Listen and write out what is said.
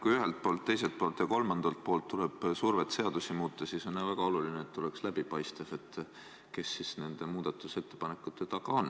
Kui ühelt poolt, teiselt poolt ja kolmandalt poolt tuleb surve seadusi muuta, siis on väga oluline, et oleks läbipaistev, kes siis nende muudatusettepanekute taga on.